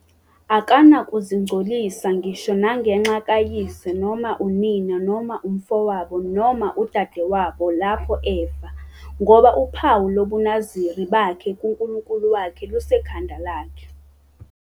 Akanakuzingcolisa ngisho nangenxa kayise noma unina noma umfowabo noma udadewabo lapho befa, ngoba uphawu lobuNaziri bakhe kuNkulunkulu wakhe lusekhanda lakhe.